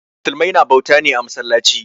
Musulmai na bauta ne a masallaci.